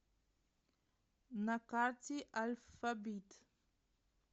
на карте альфабит